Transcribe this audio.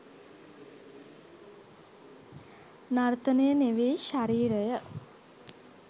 නර්තනය නෙවෙයි ශරීරය.